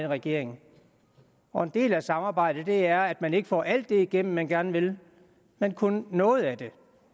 regering og en del af et samarbejde er at man ikke får alt det igennem som man gerne vil men kun noget af det